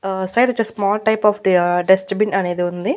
ఆ సైడొచ్చేసి small type of the dust bin అనేది ఉంది.